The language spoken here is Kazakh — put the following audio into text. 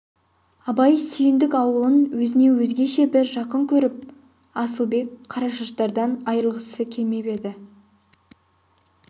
абай сүйіндік аулын өзіне өзгеше бір жақын көріп асылбек қарашаштардан айрылғысы келмеп еді